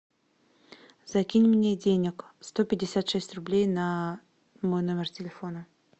закинь мне денег сто пятьдесят шесть рублей на мой номер телефона